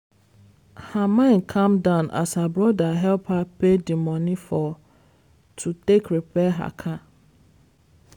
her mind calm down as her brother help her pay di money for to take repair her car.